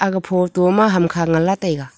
aga photo ma hamkha ngan lah taiga.